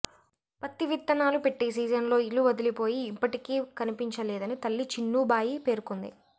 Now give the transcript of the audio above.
పత్తి విత్తనాలు పెట్టే సీజన్లో ఇల్లు వదిలిపోయి ఇప్పటికీ కనిపించలేదని తల్లి చిన్నుబాయి పేర్కొంది